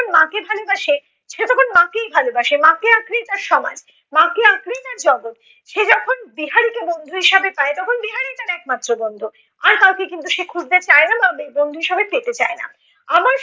মাকে ভালোবাসে সে তখন মাকেই ভালোবাসে। মাকে আঁকড়েই তার সমাজ, মাকে আঁকড়েই তার জগত। সে যখন বিহারিকে বন্ধু হিসাবে পায় তখন বিহারিই তার একমাত্র বন্ধু। আর কাউকে কিন্তু সে খুঁজতে চায় না বা ব~ বন্ধু হিসেবে পেতে চায় না।